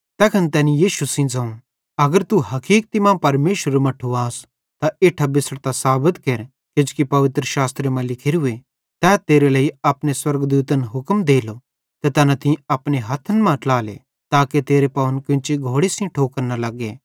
तैखन तैनी तैस सेइं ज़ोवं अगर तू हकीक्ति मां परमेशरेरू मट्ठू आस त इट्ठां बिछ़ड़तां साबत केर किजोकि पवित्रशास्त्रे मां लिखोरूए तै तेरे लेइ अपने स्वर्गदूतन हुक्म देलो ते तैना तीं अपने हथ्थन मां ट्लाले ताके तेरे पावन केन्ची घोड़न सेइं ठोकर न लग्गे